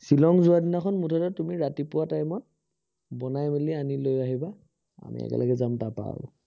শ্বিলঙ যোৱা দিনাখন মুঠতে তুমি ৰাতিপুৱা time ত বনাই মেলি আনি লৈ আহিবা, আমি একেলগে যাম তাৰপৰা আৰু।